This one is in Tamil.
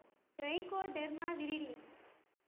trichoderma viride